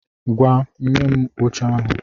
Ngwá, nye m oche ahụ!